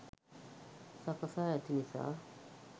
සකසා ඇති නිසා